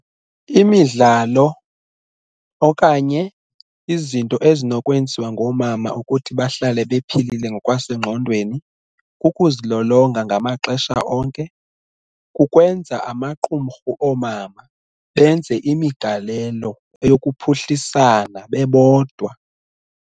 Imidlalo okanye izinto ezinokwenziwa ngoomama ukuthi bahlale bephilile ngokwasengqondweni kukuzilolonga ngamaxesha onke, kukwenza amaqumrhu oomama benze imigalelo eyokuphuhlisana bebodwa.